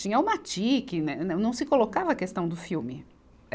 Tinha o matique, né, né, não se colocava a questão do filme. É